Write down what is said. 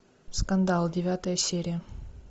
скандал девятая серия